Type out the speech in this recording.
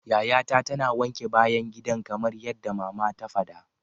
Yayata tana wanke bayan gidan kamar yadda mama ta fada.